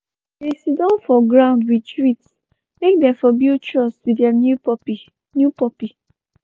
they siddon for ground with treats make them for build trust with their new puppy. new puppy.